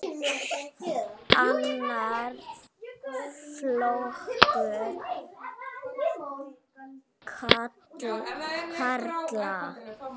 Annar flokkur karla.